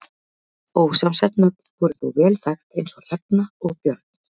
Ósamsett nöfn voru þó vel þekkt eins og Hrefna og Björn.